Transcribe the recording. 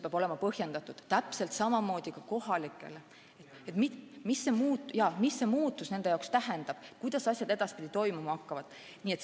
Ja samamoodi peab olema kõigile kohalikele elanikele selgitatud, mida see muutus nende jaoks tähendab, kuidas asjad edaspidi toimuma hakkavad.